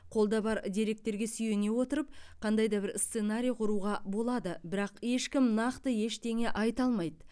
қолда бар деректерге сүйене отырып қандай да бір сценарий құруға болады бірақ ешкім нақты ештеңе айта алмайды